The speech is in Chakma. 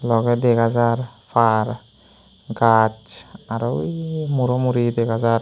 logey dega jaar paar gajch aro wuj muro muri dega jaar.